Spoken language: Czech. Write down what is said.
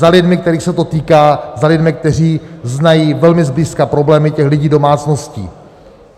Za lidmi, kterých se to týká, za lidmi, kteří znají velmi zblízka problémy těch lidí, domácností.